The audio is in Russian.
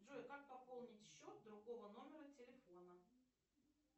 джой как пополнить счет другого номера телефона